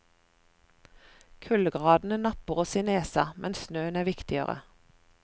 Kuldegradene napper oss i nesen, men snøen er viktigere.